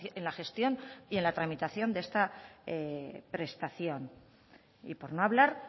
en la gestión y en la tramitación de esta prestación y por no hablar